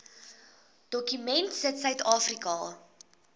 dokument sit suidafrika